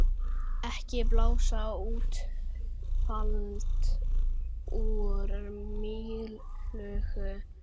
Ekki blása úlfalda úr mýflugu